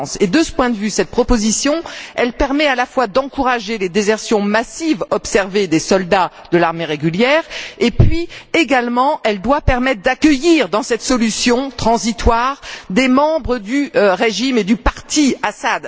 De ce point de vue, cette proposition permet à la fois d'encourager les désertions massives observées parmi les soldats de l'armée régulière et doit également permettre d'accueillir, dans cette solution transitoire, des membres du régime Assad et du parti Baas.